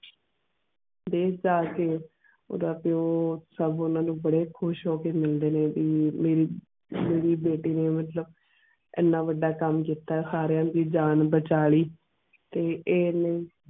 ਦੇਸ਼ ਜਾ ਕੇ ਓਦਾਂ ਪਿਯੋ ਸਬ ਓਨਾ ਨੂੰ ਬਾਰੇ ਖੁਸ਼ ਹੋ ਕੇ ਮਿਲਦੇ ਨੇ ਵੀ ਮੇਰੀ ਮੇਰੀ ਬੇਟੀ ਨੇ ਮੁਤਲਿਬ ਐਨਾ ਵਾਡਾ ਕਾਮ ਕੀਤਾ ਸਾਰੀਆਂ ਦੀ ਜਾਨ ਬਚਾ ਲਈ ਤੇ ਐਨੇ.